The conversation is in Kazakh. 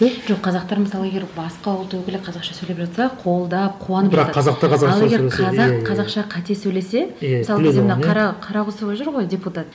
жоқ қазақтар мысалы егер басқа ұлт өкілі қазақша сөйлеп жатса қолдап қуанып жатады ал егер қазақ қазақша қате сөйлесе мысалы мына қарағұсова жүр ғой депутат